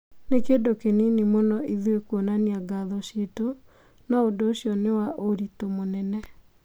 "Nĩ kĩndũ kĩnini mũno ĩthuĩ kuonania ngatho ciitũ. No ũndũ ũcio nĩ wa ũritũ mũnene".